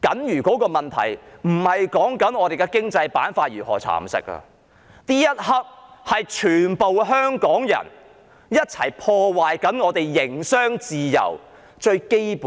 餘下的問題並非我們的經濟板塊如何被蠶食，而是此時此刻，全香港人一同破壞營商自由這項最基本原則。